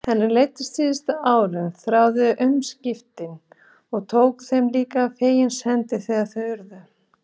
Henni leiddist síðustu árin, þráði umskiptin og tók þeim líka fegins hendi þegar þau urðu.